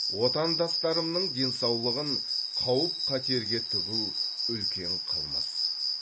отандастарымның денсаулығын қауіп қатерге тігу үлкен қылмыс